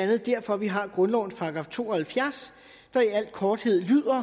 andet derfor vi har grundlovens § to og halvfjerds der i al korthed lyder